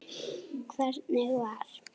Hvernig var?